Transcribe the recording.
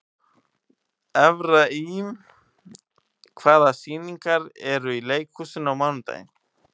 Efraím, hvaða sýningar eru í leikhúsinu á mánudaginn?